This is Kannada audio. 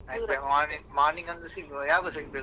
ಅದ್ಕೆ morning morning ಒಂದು ಸಿಗುವ ಯಾವಾಗ ಸಿಗ್ಬೇಕು?